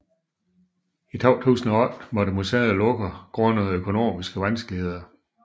I 2008 måtte museet lukke grundet økonomiske vanskeligheder